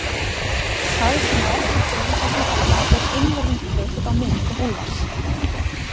Það, sem á eftir fer í þessum kafla, er einvörðungu byggt á minningum Úlfars